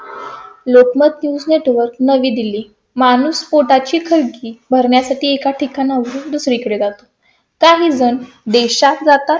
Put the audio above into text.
Lokmat news network नवी दिल्ली माणूस पोटा ची खळगी भरण्या साठी एका ठिकाणाहून दुसरीकडे जातो. काहीजण देशात जातात